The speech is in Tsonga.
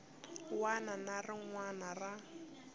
wana na rin wana ra